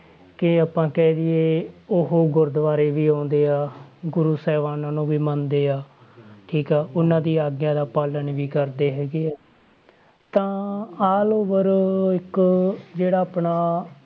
ਕਿ ਆਪਾਂ ਕਹਿ ਦੇਈਏ ਉਹ ਗੁਰਦੁਆਰੇ ਵੀ ਆਉਂਦੇ ਆ ਗੁਰੂ ਸਾਹਿਬਾਨਾਂ ਨੂੰ ਵੀ ਮੰਨਦੇ ਆ ਠੀਕ ਆ ਉਹਨਾਂ ਦੀ ਆਗਿਆ ਦਾ ਪਾਲਣ ਵੀ ਕਰਦੇ ਹੈਗੇ ਆ ਤਾਂ allover ਇੱਕ ਜਿਹੜਾ ਆਪਣਾ